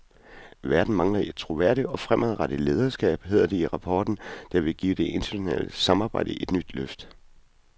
Verden mangler et troværdigt og fremadrettet lederskab, hedder det i rapporten, der vil give det internationale samarbejde et nyt løft.